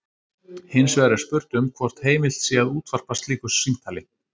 Hins vegar er spurt um hvort heimilt sé að útvarpa slíku símtali.